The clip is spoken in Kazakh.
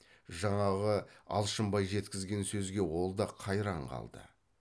жаңағы алшынбай жеткізген сөзге ол да қайран қалды